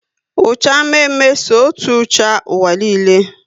Ucha mme mme so otú ucha ụwa niile